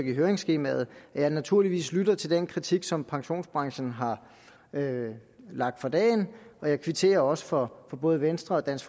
i høringsskemaet at jeg naturligvis lytter til den kritik som pensionsbranchen har lagt for dagen og jeg kvitterer også for både venstres dansk